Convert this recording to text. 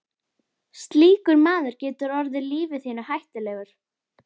Slíkur maður getur orðið lífi þínu hættulegur.